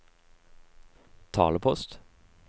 talepost